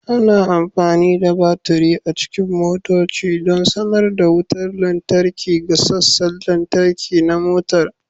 Ana amfani da baturi a cikin motoci don sanar da wutar lantarki ga sassan lantarki na motar